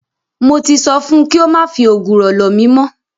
Mo ti sọ fun kí ó má fi ògùrọ̀ lọ̀ mí mọ́.